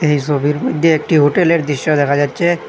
এই সবির মধ্যে একটি হোটেলের দৃশ্য দেখা যাচ্ছে।